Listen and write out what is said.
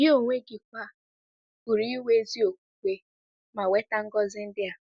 Gị onwe gị kwa pụrụ inwe ezi okwukwe ma nweta ngọzi ndị a.